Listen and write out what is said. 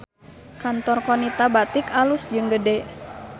Kantor Qonita Batik alus jeung gede